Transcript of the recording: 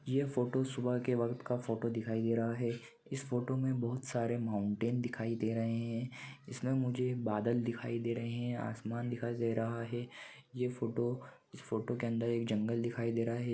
यह फोटो सुबह के वक्त का फोटो दिखाई दे रहा है इस फोटो में बहुत सारे माउंटेन दिखाई दे रहे है जिसमें मुझे बादल दिखाई दे रहे है आसमान दिखाई दे रहा है यह फोटो इस फोटो के अंदर एक जंगल दिखाई दे रहा है ।